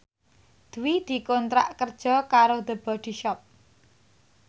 Dwi dikontrak kerja karo The Body Shop